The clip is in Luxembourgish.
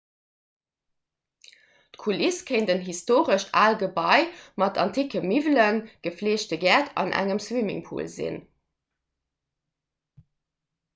d'kuliss kéint en historescht aalt gebai mat anticke miwwelen gefleegte gäert an engem swimmingpool sinn